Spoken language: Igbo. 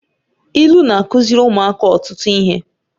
Ilu na-akụziri ụmụaka ọtụtụ ihe